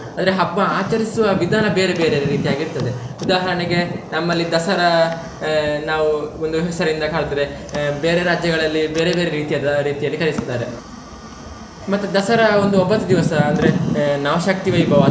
ಅಂದ್ರೆ ಹಬ್ಬ ಆಚರಿಸುವ ವಿಧಾನ ಬೇರೆ ಬೇರೆ ರೀತಿ ಆಗಿರ್ತದೆ ಉದಾಹರಣೆಗೆ ನಮ್ಮಲ್ಲಿ ದಸರಾ ನಾವು ಒಂದು ಹೆಸರಿಂದ ಕರ್ದ್ರೆ ಆಹ್ ಬೇರೆ ರಾಜ್ಯಗಳಲ್ಲಿ ಬೇರೆ ಬೇರೆ ರೀತಿಯದ್ದು ಆ ರೀತಿಯಲ್ಲಿ ಕರಿಸ್ತಾರೆ ಮತ್ತೆ ದಸರಾ ಒಂದು ಒಂಬತ್ತು ದಿವಸ ಅಂದ್ರೆ ಆಹ್ ನವಶಕ್ತಿ ವೈಭವ.